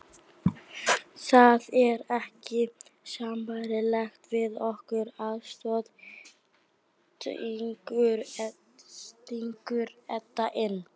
Það er ekki sambærilegt við okkar aðstæður, stingur Edda inn.